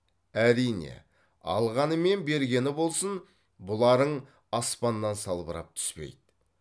әрине алғаны мен бергені болсын бұларың аспаннан салбырап түспейді